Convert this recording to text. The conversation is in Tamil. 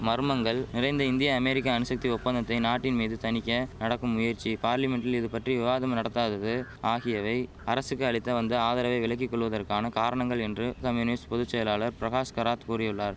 மர்மங்கள் நிறைந்த இந்திய அமெரிக்க அணுசக்தி ஒப்பந்தத்தை நாட்டின் மீது தணிக்க நடக்கும் முயற்சி பார்லிமென்டில் இது பற்றி விவாதம் நடத்தாதது ஆகியவை அரசுக்கு அளித்த வந்த ஆதரவை விலக்கி கொள்வதற்கான காரணங்கள் என்று கம்யூனிஸ்ட் பொது செயலாளர் பிரகாஷ் கராத் கூறியுள்ளார்